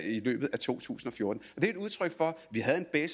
i løbet af to tusind og fjorten det er et udtryk for vi havde en